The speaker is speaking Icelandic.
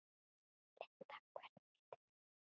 Linda: Hvernig vitið þið það?